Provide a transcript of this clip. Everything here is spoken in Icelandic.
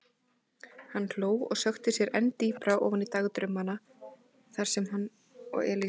Hann hló og sökkti sér enn dýpra ofan í dagdrauma þar sem hann og Elísa.